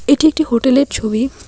এটি একটি হোটেলের ছবি।